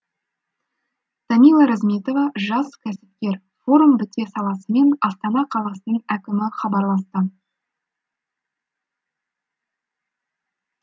тамила розметова жас кәсіпкер форум біте салысымен астана қаласының әкімі хабарласты